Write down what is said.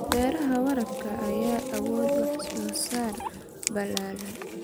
Beeraha waraabka ayaa awood wax soo saar ballaaran.